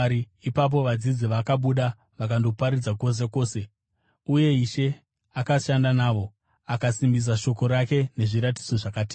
Ipapo vadzidzi vakabuda vakandoparidza kwose kwose, uye Ishe akashanda navo, akasimbisa shoko rake nezviratidzo zvakatevera.